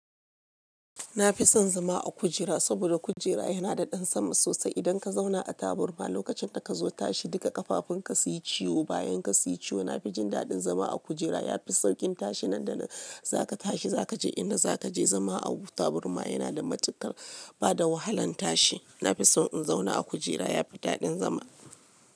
Na fi son zama a kujera saboda kujera yana da ɗan sama sosai. Idan ka zauna a taburma lokacin da ka zo tashi duka ƙafafun ka su yi ciwo. Bayan ka su yi ciwo, na fi jin daɗin zama a kujera. Ya fi sauƙin tashi. Nan da za ka tashi za ka je ina za ka je. Zama a taburma yana da matuƙar bada wahalan tashi. Na fi son in zauna a kujera. Ya fi daɗin zama.